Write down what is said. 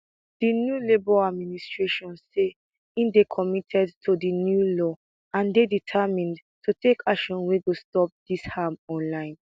di new labour administration say e dey committed to di new law and dey determined to take action wey go stop dis harm online